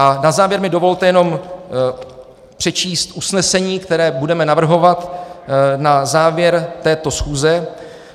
A na závěr mi dovolte jenom přečíst usnesení, které budeme navrhovat na závěr této schůze: